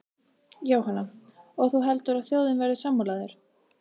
Jóhanna: Og heldur þú að þjóðin verði sammála þér?